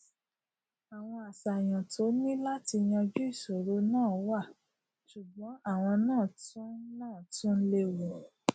àwọn àṣàyàn tó ní láti yanjú ìṣòro náà wà sùgbón àwon náà tún náà tún léwu